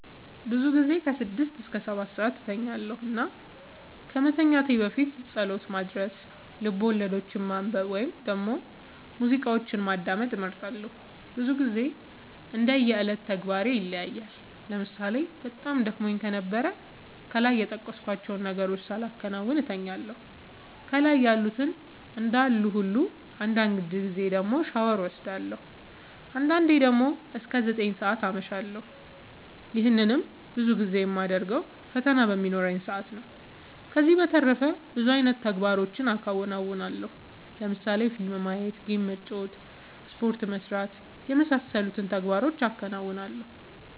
ብዙ ጊዜ ስድስት እስከ ሰባትሰዓት እተኛለሁ እና ከመተኛት በፊት ፀሎት ማድረስ፣ ልቦለዶችን ማንበብ ወይም ደግሞ ሙዚቃዎችን ማዳመጥ እመርጣለሁ። ብዙ ግዜ እንደ የዕለት ተግባሬ ይለያያል ለምሳሌ በጣም ደክሞኝ ከነበረ ከላይ የጠቀስኳቸውን ነገሮች ሳላከናውን እተኛለሁ ከላይ ያሉት እንዳሉ ሁሉ አንዳንድ ጊዜ ደግሞ ሻወር ወስዳለሁ። አንዳንዴ ደግሞ እስከ ዘጠኝ ሰዓት አመሻለሁ ይህንንም ብዙ ጊዜ የማደርገው ፈተና በሚኖረኝ ሰአት ነው። ከዚህ በተረፈ ብዙ አይነት ተግባሮችን አከናወናለሁ ለምሳሌ ፊልም ማየት ጌም መጫወት ስፖርት መስራት የመሳሰሉት ተግባሮቹን አከናውናለሁ።